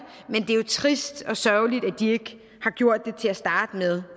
er jo trist og sørgeligt at de ikke har gjort det til at starte med